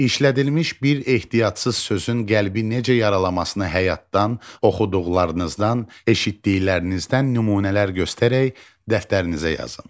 İşlədilmiş bir ehtiyatsız sözün qəlbi necə yaralamasını həyatdan, oxuduqlarınızdan, eşitdiklərinizdən nümunələr göstərək dəftərinizə yazın.